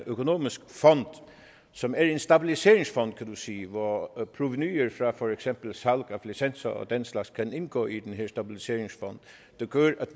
økonomisk fond som er en stabiliseringsfond kan du sige hvor provenuet fra for eksempel salg af licenser og den slags kan indgå i den her stabiliseringsfond det gør at